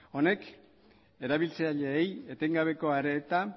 honek erabiltzaileei etengabeko arreta